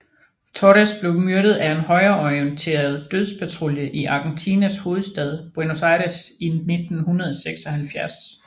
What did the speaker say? Torres blev myrdet af en højreorienteret dødspatrulje i Argentinas hovedstad Buenos Aires i 1976